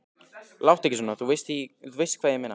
Láttu ekki svona. þú veist hvað ég meina.